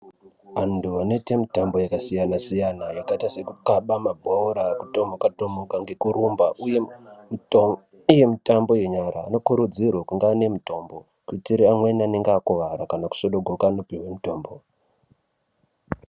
Vanthu vanoite mitambo yakasiyana siyana yakaite sekukaba mabhora kutomuka tomuka ngekurumba uye mitambo yenyara anokurudzirwe kunge ane mitombo kuitire amweni anenge akuwara kana kuzvodogoka anopiwe mitombo.